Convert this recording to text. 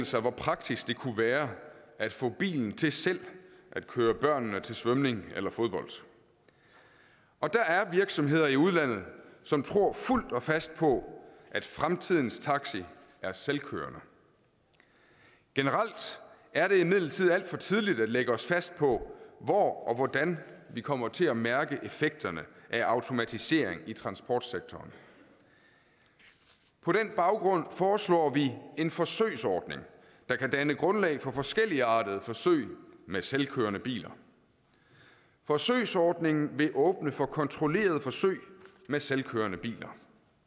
sig hvor praktisk det kunne være at få bilen til selv at køre børnene til svømning eller fodbold og der er virksomheder i udlandet som tror fuldt og fast på at fremtidens taxi er selvkørende generelt er det imidlertid alt for tidligt at lægge os fast på hvor og hvordan vi kommer til at mærke effekterne af automatisering i transportsektoren på den baggrund foreslår vi en forsøgsordning der kan danne grundlag for forskelligartede forsøg med selvkørende biler forsøgsordningen vil åbne for kontrollerede forsøg med selvkørende biler